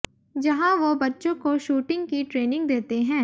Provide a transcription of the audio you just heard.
जहां वो बच्चों को शूटिंग की ट्रेनिंग देते हैं